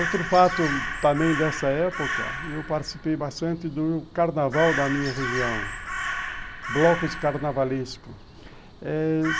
Outro fato também dessa época, eu participei bastante do carnaval da minha região, blocos carnavalesco.